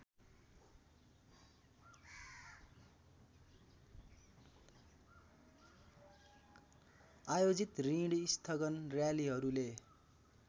आयोजित ॠणस्थगन र्‍यालीहरूले